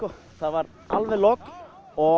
það var alveg logn og